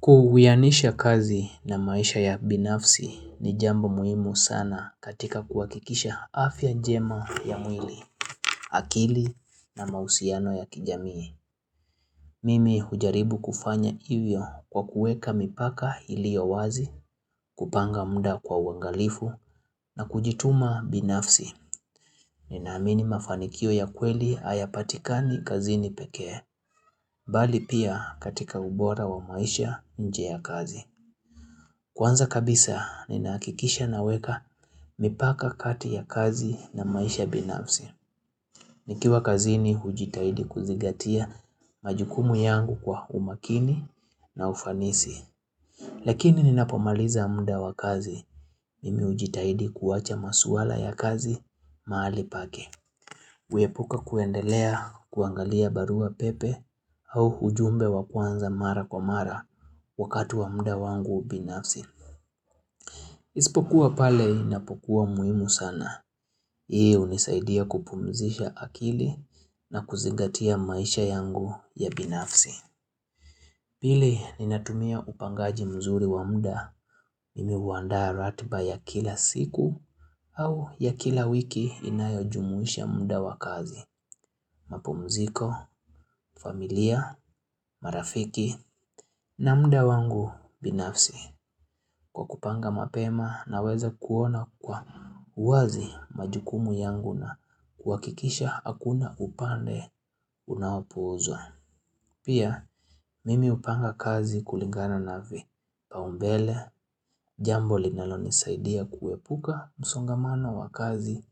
Kuuwianisha kazi na maisha ya binafsi ni jambo muhimu sana katika kuwakikisha afya jema ya mwili, akili na mausiano ya kijamii. Mimi hujaribu kufanya ivyo kwa kueka mipaka iliyo wazi, kupanga mda kwa wangalifu na kujituma binafsi. Ninaamini mafanikio ya kweli ayapatikani kazini pekee, bali pia katika ubora wa maisha nje ya kazi. Kwanza kabisa, ninakikisha naweka mipaka kati ya kazi na maisha binafsi. Nikiwa kazini hujitahidi kuzigatia majukumu yangu kwa umakini na ufanisi. Lakini ninapomaliza mda wa kazi, mimi hujitahidi kuwacha maswala ya kazi mahali pake. Kuyepuka kuendelea kuangalia barua pepe au hujumbe wa kwanza mara kwa mara wakatu wa mda wangu ubinafsi. Isipokuwa pale inapokuwa umuhimu sana. Hii unisaidia kupumzisha akili na kuzigatia maisha yangu ya binafsi. Bili ninatumia upangaji mzuri wa mda, mimi huandaa ratba ya kila siku au ya kila wiki inayo jumuisha mda wakazi. Mapumziko, familia, marafiki na mda wangu binafsi. Kwa kupanga mapema naweza kuona kwa uwazi majukumu yangu na kuwakikisha hakuna upande unaopuuzwa. Pia, mimi upanga kazi kulingana na vi. Paumbele, jambo linalonisaidia kuwepuka msongamano wa kazi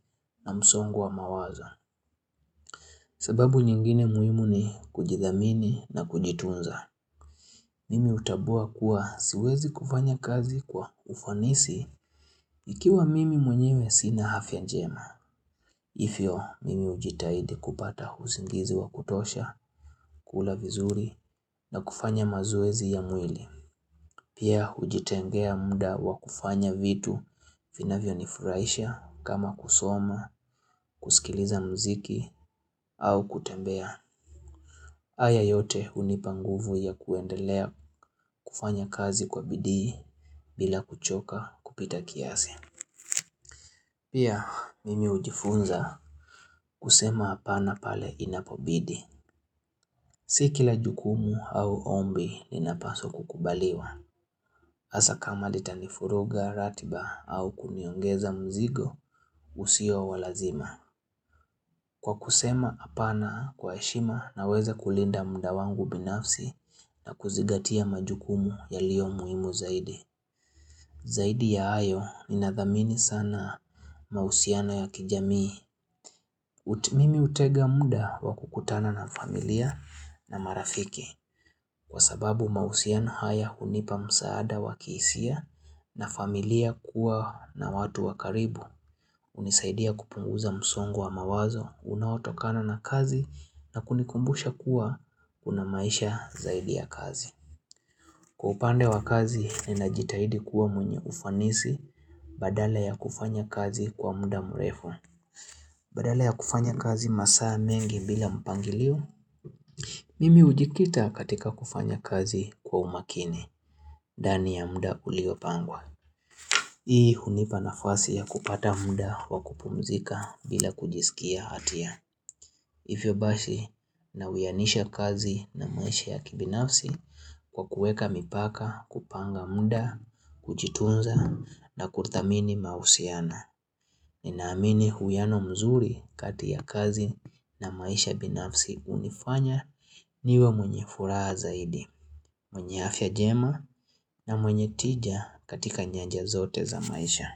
na msongwa mawazo. Sebabu nyingine muimu ni kujidhamini na kujitunza. Mimi utabua kuwa siwezi kufanya kazi kwa ufanisi ikiwa mimi mwenyewe sina hafya njema. Ivyo, mimi ujitahidi kupata usingizi wa kutosha, kula vizuri na kufanya mazoezi ya mwili. Pia ujitengea muda wa kufanya vitu vinavyo nifuraisha kama kusoma, kusikiliza mziki au kutembea. Aya yote unipanguvu ya kuendelea kufanya kazi kwa bidii bila kuchoka kupita kiasi. Pia mimi ujifunza kusema apana pale inapobidi. Si kila jukumu au ombi linapaswa kukubaliwa. Asa kama litanifuruga ratiba au kuniongeza mzigo usio walazima. Kwa kusema apana kwa heshima naweza kulinda mda wangu binafsi na kuzigatia majukumu yalio muhimu zaidi. Zaidi ya ayo minadhamini sana mausiano ya kijamii. Mimi utega mda wakukutana na familia na marafiki. Kwa sababu mausiana haya unipa msaada wakisia na familia kuwa na watu wakaribu. Unisaidia kupunguza msongwo wa mawazo, unaotokana na kazi na kunikumbusha kuwa kuna maisha zaidi ya kazi. Kwa upande wa kazi, ninajitahidi kuwa mwenye ufanisi badala ya kufanya kazi kwa mda mrefu. Badala ya kufanya kazi masaa mengi bila mpangilio. Mimi ujikita katika kufanya kazi kwa umakini, dani ya muda uliopangwa. Ii hunipa nafasi ya kupata mda wa kupumzika bila kujisikia hatia. Ivyobasi na uyanisha kazi na maisha ya kibinafsi kwa kueka mipaka kupanga mda, kujiitunza na kurthamini mahusiana. Ninaamini huyano mzuri kati ya kazi na maisha ya binafsi unifanya niwe mwenye furaha zaidi. Mwenye afya jema na mwenye tija katika nyanja zote za maisha.